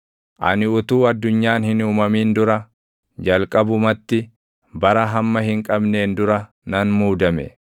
ani utuu addunyaan hin uumamin dura, jalqabumatti, bara hamma hin qabneen dura nan muudame.